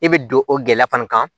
I bɛ don o gɛlɛya fana kan